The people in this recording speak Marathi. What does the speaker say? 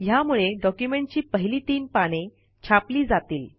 ह्यामुळे डॉक्युमेंटची पहिली तीन पाने छापली जातील